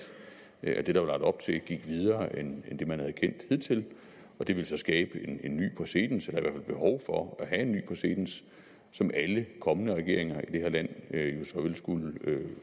at det der var lagt op til gik videre end det man havde kendt hidtil og det ville så skabe en ny præcedens eller i et behov for at have en ny præcedens som alle kommende regeringer i det her land jo så ville skulle